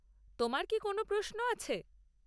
তোমার কি কোনও প্রশ্ন আছে?